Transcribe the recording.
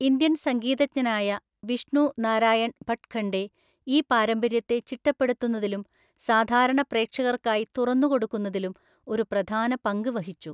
Indian സംഗീതജ്ഞനായ വിഷ്ണു നാരായൺ ഭട്ഖണ്ഡേ ഈ പാരമ്പര്യത്തെ ചിട്ടപ്പെടുത്തുന്നതിലും സാധാരണ പ്രേക്ഷകർക്കായി തുറന്നുകൊടുക്കുന്നതിലും ഒരു പ്രധാന പങ്ക് വഹിച്ചു.